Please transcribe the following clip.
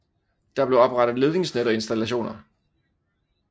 Der blev oprettet ledningsnet og installationer